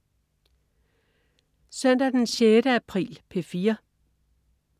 Søndag den 6. april - P4: